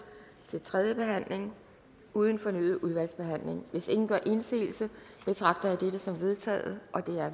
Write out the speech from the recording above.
til tredje behandling uden fornyet udvalgsbehandling hvis ingen gør indsigelse betragter jeg dette som vedtaget